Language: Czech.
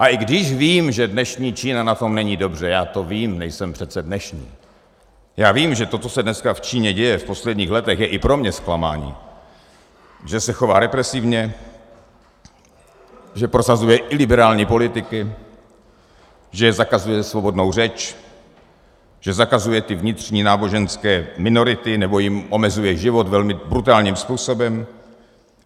A i když vím, že dnešní Čína na tom není dobře, já to vím, nejsem přece dnešní, já vím, že to, co se dneska v Číně děje, v posledních letech, je i pro mě zklamáním, že se chová represivně, že prosazuje iliberální politiky, že zakazuje svobodnou řeč, že zakazuje ty vnitřní náboženské minority nebo jim omezuje život velmi brutálním způsobem.